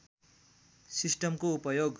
सिस्टमको उपयोग